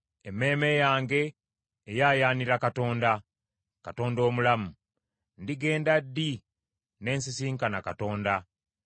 Emmeeme yange eyaayaanira Katonda, Katonda omulamu. Ndigenda ddi ne nsisinkana Katonda?